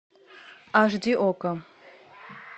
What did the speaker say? аш ди окко